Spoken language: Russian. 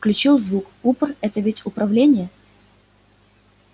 включил звук упр это ведь управление